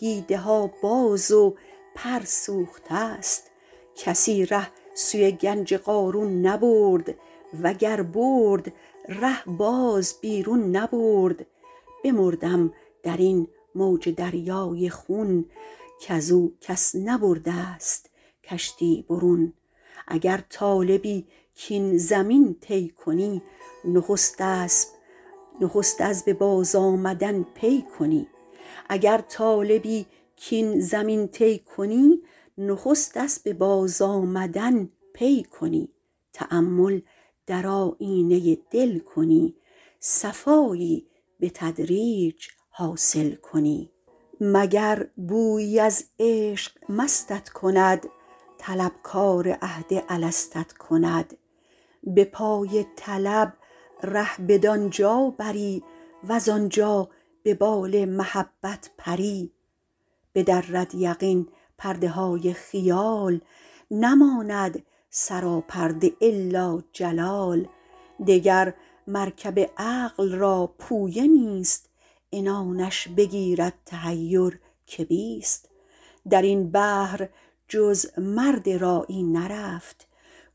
دیده ها باز و پر سوخته ست کسی ره سوی گنج قارون نبرد وگر برد ره باز بیرون نبرد بمردم در این موج دریای خون کز او کس نبرده ست کشتی برون اگر طالبی کاین زمین طی کنی نخست اسب بازآمدن پی کنی تأمل در آیینه دل کنی صفایی به تدریج حاصل کنی مگر بویی از عشق مستت کند طلبکار عهد الستت کند به پای طلب ره بدان جا بری وز آنجا به بال محبت پری بدرد یقین پرده های خیال نماند سراپرده إلا جلال دگر مرکب عقل را پویه نیست عنانش بگیرد تحیر که بیست در این بحر جز مرد راعی نرفت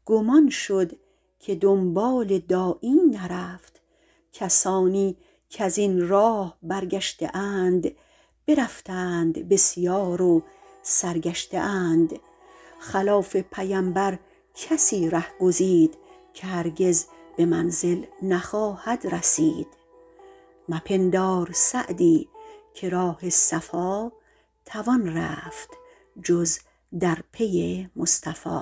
گم آن شد که دنبال داعی نرفت کسانی کز این راه برگشته اند برفتند بسیار و سرگشته اند خلاف پیمبر کسی ره گزید که هرگز به منزل نخواهد رسید مپندار سعدی که راه صفا توان رفت جز بر پی مصطفی